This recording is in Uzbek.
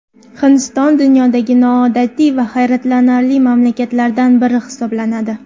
Hindiston dunyodagi noodatiy va hayratlanarli mamlakatlardan biri hisoblanadi.